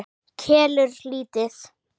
Kelur lítið.